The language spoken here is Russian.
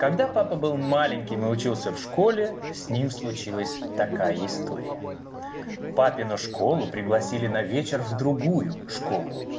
когда папа был маленьким и учился в школе с ним случилась такая история папину школу пригласили на вечер в другую школу